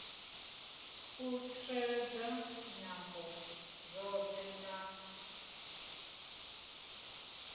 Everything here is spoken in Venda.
u tsireledza nyambo dzoṱhe na